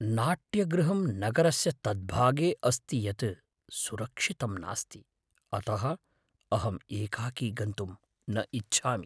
नाट्यगृहं नगरस्य तद्भागे अस्ति यत् सुरक्षितं नास्ति, अतः अहं एकाकी गन्तुम् न इच्छामि।